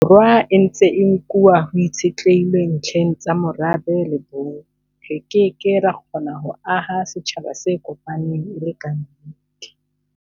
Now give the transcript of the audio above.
Borwa e ntse e nkuwa ho itshitlehilwe ntlheng tsa morabe le bong, re ke ke ra kgona ho aha setjhaba se kopaneng e le kannete.